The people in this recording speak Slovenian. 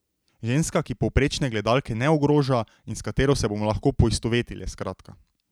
Ženska, ki povprečne gledalke ne ogroža in s katero se bomo lahko poistovetile, skratka.